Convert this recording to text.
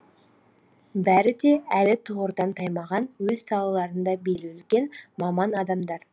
бәрі де әлі тұғырдан таймаған өз салаларында беделі үлкен маман адамдар